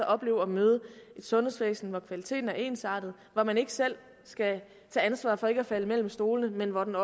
opleve at møde et sundhedsvæsen hvor kvaliteten er ensartet hvor man ikke selv skal tage ansvaret for ikke at falde mellem stolene men hvor den